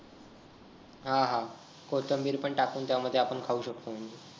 हा हा कोथंबीर पण टाकून आपण त्यामध्ये खाऊ शकतोय